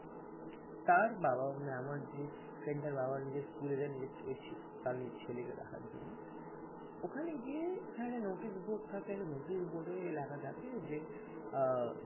তার বাবা মানে আমার যে friend তার বাবা নিজে স্কুলে যায় নিজের ছেলেকে দেখার জন্য ওখানে গিয়ে ওখানে একটা notice board থাকে notice board লেখা থাকে যে